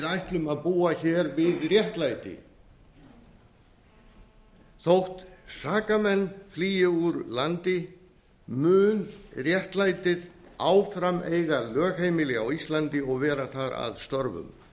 ætlum að búa við réttlæti þótt saka menn flýi úr landi mun réttlætið áfram eiga lögheimili á íslandi og vera þar að störfum